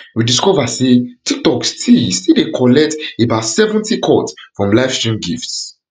we discover say tiktok still still dey collect about seventy cut from livestream gifts